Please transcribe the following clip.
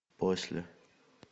после